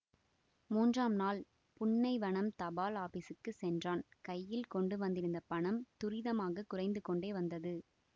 மூன்றாம் நாள் புன்னைவனம் தபால் ஆபீஸுக்குச் சென்றான் கையில் கொண்டு வந்திருந்த பணம் துரிதமாகக் குறைந்து கொன்டே வந்தது